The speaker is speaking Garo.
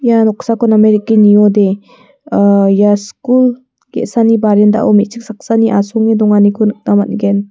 ia noksako name dake niode ah ia skul ge·sani barandao me·chik saksani asonge donganiko nikna man·gen.